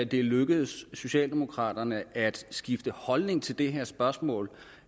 det er lykkedes socialdemokraterne at skifte holdning til det her spørgsmål